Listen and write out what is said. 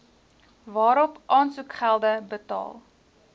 waarop aansoekgelde betaal